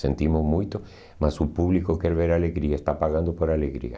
Sentimos muito, mas o público quer ver alegria, está pagando por alegria.